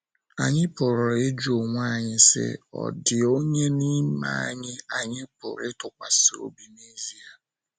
Anyị pụrụ ịjụ onwe anyị si, Ọ̀ dị onye n'ime anyị, anyị pụrụ ịtụkwasị obi n’ezie?